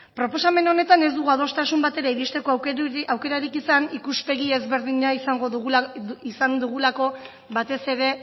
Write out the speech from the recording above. proposamen honetan ez dugu adostasun batera iristeko aukerarik izan ikuspegi ezberdina izan dugulako batez ere